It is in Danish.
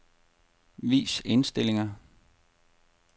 Vis indstillinger.